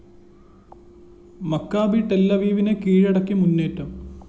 Maccabee Tel അവീവിനെ കീഴടക്കി മുന്നേറ്റം